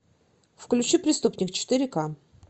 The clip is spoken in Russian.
включи преступник четыре ка